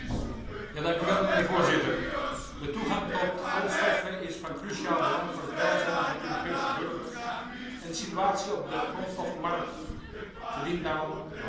Voorzitter, de toegang tot grondstoffen is van cruciaal belang voor het welzijn van de Europese burgers en de situatie op de grondstoffenmarkten verdient daarom de hoogste prioriteit.